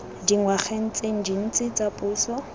dingwageng tse dintsi tsa puso